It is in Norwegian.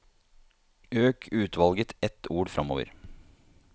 Øk utvalget ett ord framover